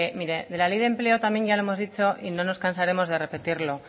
mire de la ley de empleo también ya hemos dicho y no nos cansaremos de repetirlo